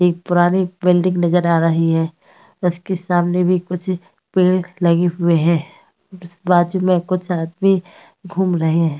एक पुरानी बिल्डिंग नजर आ रही है उसकी सामने भी कुछ पेड़ लगे हुए है उसके बाजू में कुछ आदमी घूम रहे है।